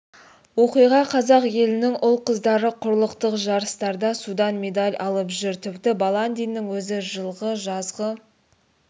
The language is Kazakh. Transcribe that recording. оқиға қазақ елінің ұл-қыздары құрлықтық жарыстарда судан медаль алып жүр тіпті баландиннің өзі жылғы жазғы